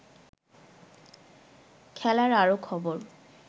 খেলার আরো খবর